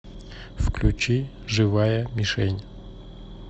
включи живая мишень